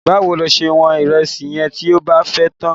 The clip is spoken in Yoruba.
Báwo lo ṣe wọ́n ìrẹsì yẹn tí o bá fẹ́ tà á?